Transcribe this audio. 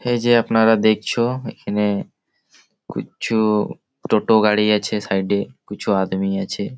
এই যে আপনারা দেখছো-ও এইখানে কুছু টোটো গাড়ি আছে সাইডে কুছু আদমি আছে--